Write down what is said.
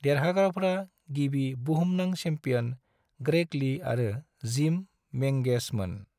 देरहाग्राफोरा, गिबि "बुहुमनां champion", Greg Lee आरो जिम मेंगेसमोन।